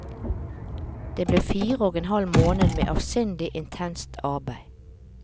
Det ble fire og en halv måned med avsindig intenst arbeid.